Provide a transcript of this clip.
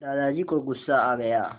दादाजी को गुस्सा आ गया